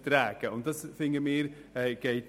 Wir finden, das gehe nicht.